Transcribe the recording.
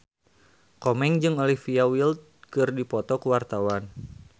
Komeng jeung Olivia Wilde keur dipoto ku wartawan